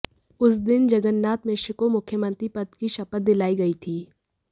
उस दिन जगन्नाथ मिश्र को मुख्यमंत्री पद की शपथ दिलाई गई थी